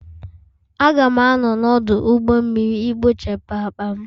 Aga'm a-anọ n'ọdụ ụgbọ mmiri ikpochapụ akpa m